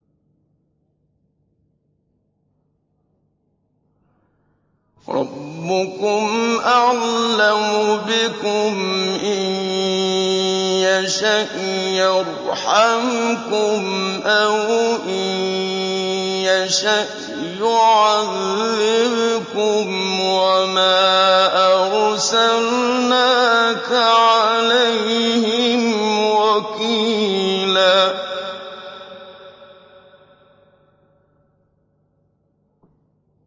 رَّبُّكُمْ أَعْلَمُ بِكُمْ ۖ إِن يَشَأْ يَرْحَمْكُمْ أَوْ إِن يَشَأْ يُعَذِّبْكُمْ ۚ وَمَا أَرْسَلْنَاكَ عَلَيْهِمْ وَكِيلًا